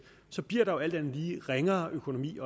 så bliver der jo alt andet lige også en ringere økonomi